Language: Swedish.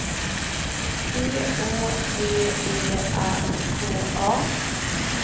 P Å V E R K A